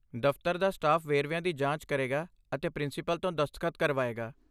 ਦਫਤਰ ਦਾ ਸਟਾਫ ਵੇਰਵਿਆਂ ਦੀ ਜਾਂਚ ਕਰੇਗਾ ਅਤੇ ਪ੍ਰਿੰਸੀਪਲ ਤੋਂ ਦਸਤਖਤ ਕਰਵਾਏਗਾ।